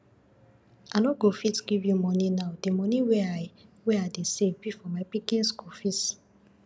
i no go fit give you money now the money wey i wey i dey save be for my pikin school fees